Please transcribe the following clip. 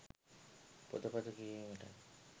පොතපත කියවීමටත්,